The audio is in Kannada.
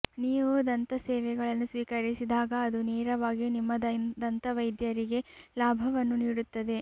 ನೀವು ದಂತ ಸೇವೆಗಳನ್ನು ಸ್ವೀಕರಿಸಿದಾಗ ಅದು ನೇರವಾಗಿ ನಿಮ್ಮ ದಂತವೈದ್ಯರಿಗೆ ಲಾಭವನ್ನು ನೀಡುತ್ತದೆ